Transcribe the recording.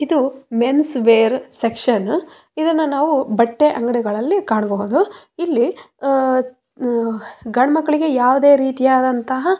ಇದು men's wear section ಇದನ್ನ ನಾವು ಬಟ್ಟೆ ಅಂಗಡಿಗಳಲ್ಲಿ ಕಾಣಬಹುದು ಇಲ್ಲಿ ಅಹ್‌ ಅಹ್‌ ಗಂಡ ಮಕ್ಕಳಿಗೆ ಯಾವದೆ ರಿತಿಯಾದಂತಹ--